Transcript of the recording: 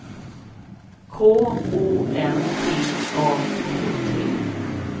K O N T A K T